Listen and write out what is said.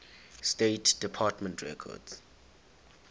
state department records